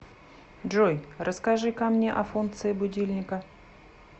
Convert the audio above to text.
джой расскажи ка мне о функции будильника